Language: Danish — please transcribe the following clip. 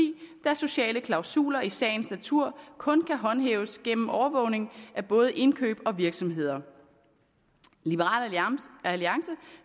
da sociale klausuler i sagens natur kun kan håndhæves gennem overvågning af både indkøb og virksomheder liberal alliance